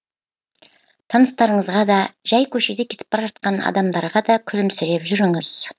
таныстарыңызға да жай көшеде кетіп бара жатқан адамдарға да күлімсіреп жүріңіз